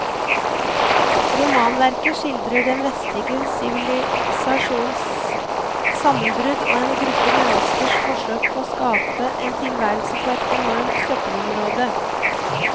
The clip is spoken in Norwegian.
Romanverket skildrer den vestlige sivilisasjons sammenbrudd og en gruppe menneskers forsøk på å skape en tilværelse på et enormt søppelområde.